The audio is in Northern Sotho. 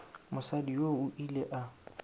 mosadi yoo o ile a